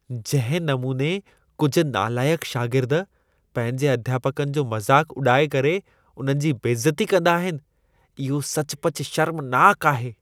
जंहिं नमूने कुझु नालाइक़ शागिर्द पंहिंजे अध्यापकनि जो मज़ाक उॾाए करे उन्हनि जी बेइज़ती कंदा आहिनि, इहो सचुपचु शर्मनाक आहे।